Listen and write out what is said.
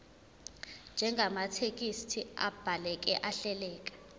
njengamathekisthi abhaleke ahleleka